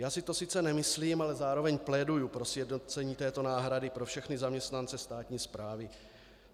Já si to sice nemyslím, ale zároveň pléduji pro sjednocení této náhrady pro všechny zaměstnance státní správy.